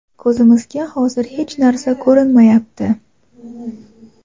ko‘zimizga hozir hech narsa ko‘rinmayapti.